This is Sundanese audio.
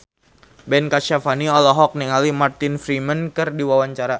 Ben Kasyafani olohok ningali Martin Freeman keur diwawancara